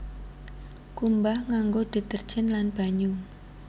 Kumbah nganggo deterjen lan banyu